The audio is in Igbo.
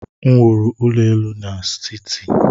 M wuru ụlọ elu n'siti.